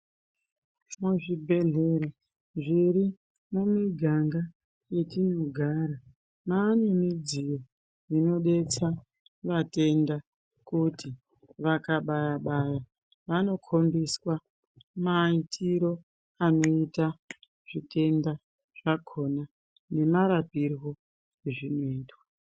Muzvibhedhlera zviri mumiganga yetinogara ,vane midziyo inodetsara vatenda kuti vakabaya baya vanokombiswa maitire anoita zvitenda nemarapirwe azvinoitwa.